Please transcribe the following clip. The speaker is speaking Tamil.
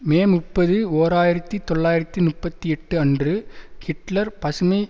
மே முப்பது ஓர் ஆயிரத்தி தொள்ளாயிரத்து முப்பத்தி எட்டு அன்று ஹிட்லர் பசுமை